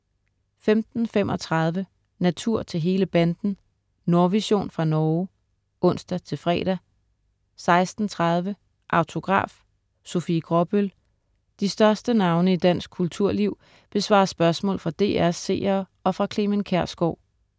15.35 Natur til hele banden. Nordvision fra Norge (ons-fre) 16.30 Autograf: Sofie Gråbøl. De største navne i dansk kulturliv besvarer spørgsmål fra DR's seere og fra Clement Kjersgaard